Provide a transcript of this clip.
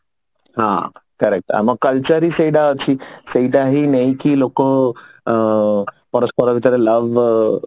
ହଁ correct ଆମ culture ହିଁ ସେଇଟା ଅଛି ସେଇଟା ହିଁ ନେଇକି ଲୋକ ଓ ପରସ୍ପର ଭିତରେ love